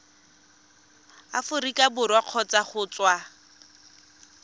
aforika borwa kgotsa go tswa